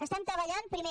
estem treballant primer